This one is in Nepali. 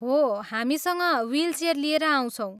हो, हामीसँग ह्वीलचेयर लिएर आउँछौँ।।